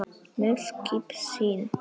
með skip sín